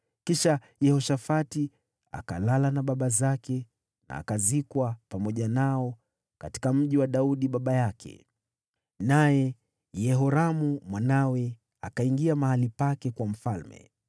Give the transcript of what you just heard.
Kisha Yehoshafati akalala na baba zake, akazikwa pamoja nao katika mji wa Daudi baba yake. Mwanawe Yehoramu akawa mfalme baada yake.